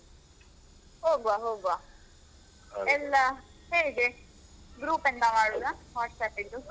ಹೋಗ್ವ, ಹೋಗ್ವ ಎಲ್ಲ ಹೇಗೆ ಗ್ರೂಪ್ ಎಂತ ಮಾಡುದಾ ವಾಟ್ಸಪ್ಪಿಂದು?